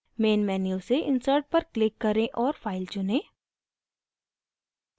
main menu से insert पर click करें और file चुनें